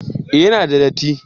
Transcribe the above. eh ya na da datti